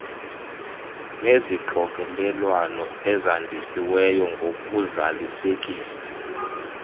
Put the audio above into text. nezixokelelwano ezandisiweyo ngokuzalisekisa